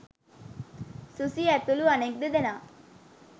සුසී ඇතුළු අනෙක් දෙදෙනා